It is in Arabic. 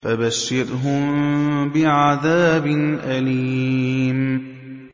فَبَشِّرْهُم بِعَذَابٍ أَلِيمٍ